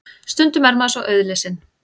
Stundum er maður svo auðlesinn.